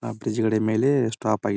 ಆ ಬ್ರಿಜ್ ಗಡೆ ಮೇಲೆ ಸ್ಟಾಪ್ ಆಗಿದೆ.